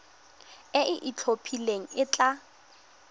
e e itlhophileng e tla